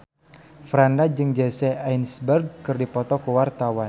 Franda jeung Jesse Eisenberg keur dipoto ku wartawan